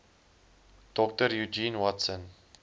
dr eugene watson